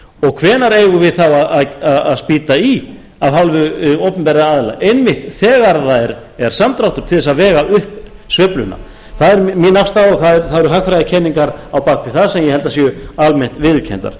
og hvenær eigum við þá að spýta í af hálfu opinberra aðila einmitt þegar það er samdráttur til að vega upp sveifluna það er mín afstaða og það eru hagfræðikenningar á bak við það sem ég held að séu almennt viðurkenndar